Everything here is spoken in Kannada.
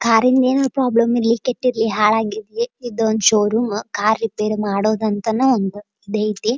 ಕಾರ್ ಇಂದ ಏನಾರ್ ಪ್ರಾಬ್ಲಮ್ ಇರ್ಲಿ ಕೆಟ್ಟಿರಲಿ ಹಾಳಾಗಿರಲಿ ಇದೊಂದ್ ಷೋರೂಮ್ ಕಾರ್ ರಿಪೇರಿ ಮಾಡೋದ್ ಅಂತಾನೂ ಇದ್ ಅಯ್ತಿ.